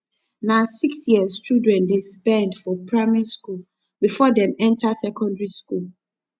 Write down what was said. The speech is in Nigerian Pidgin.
na six years children dey spend for primary skool before dem enta secondary skool